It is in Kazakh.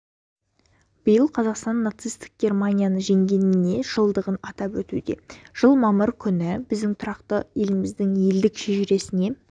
биыл қазақстан нацистік германияны жеңгеніне жылдығын атап өтуде жыл мамыр күні біздің тұрақты еліміздің ерлік шежіресіне